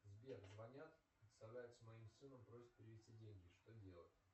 сбер звонят представляются моим сыном просят перевести деньги что делать